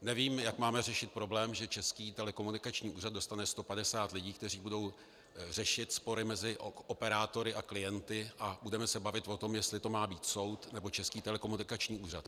Nevím, jak máme řešit problém, že Český telekomunikační úřad dostane 150 lidí, kteří budou řešit spory mezi operátory a klienty, a budeme se bavit o tom, jestli to má být soud nebo Český telekomunikační úřad.